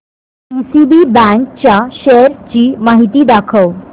DCB bank च्या shares ची माहिती दाखव